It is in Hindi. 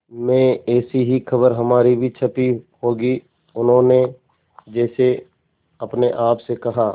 में ऐसी ही खबर हमारी भी छपी होगी उन्होंने जैसे अपने आप से कहा